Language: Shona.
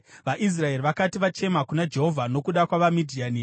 VaIsraeri vakati vachema kuna Jehovha nokuda kwavaMidhiani,